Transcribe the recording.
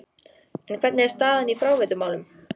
En hvernig er staðan í fráveitumálum?